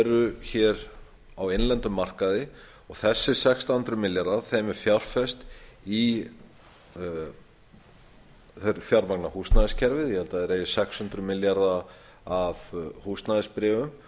eru hér á innlendum markaði þessum sextán hundruð milljörðum er fjárfest í þeir fjármagna húsnæðiskerfið ég held að þeir eigi sex hundruð milljarða af húsnæðisbréfum